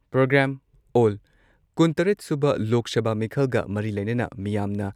programme ꯑꯣꯜ ꯀꯨꯟꯇꯔꯦꯠ ꯁꯨꯕ ꯂꯣꯛ ꯁꯚꯥ ꯃꯤꯈꯜꯒ ꯃꯔꯤ ꯂꯩꯅꯅ ꯃꯤꯌꯥꯝꯅ